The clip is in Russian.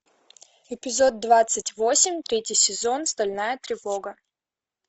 эпизод двадцать восемь третий сезон стальная тревога